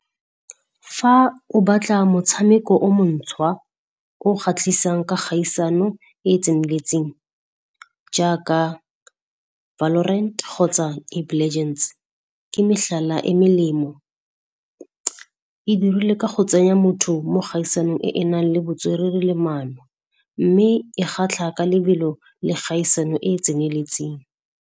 Fa o batla motshameko o moša, o kgatlhisang ka kgaisano e e tseneletseng jaaka Valorent kgotsa Legends, ke metlhala e melemo. E dirilwe ka go tsenya motho mo kgaisanong e e enang le botswerere le mano, mme e kgatlha ka lebelo le kgaisano e e tseneletseng.